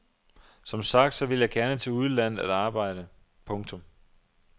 Som sagt vil jeg gerne til udlandet at arbejde. punktum